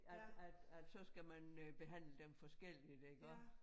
At at at så skal man øh behandle dem forskelligt iggå